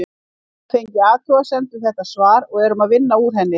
Við höfum fengið athugasemd við þetta svar og erum að vinna úr henni.